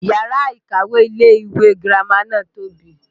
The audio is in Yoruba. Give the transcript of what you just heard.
Yàrá ìkàwé ilé ìwé girama náà tóbi